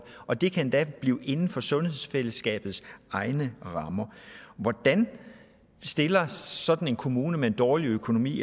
og det kan endda blive inden for sundheds fællesskabets egne rammer hvordan stilles sådan en kommune med en dårlig økonomi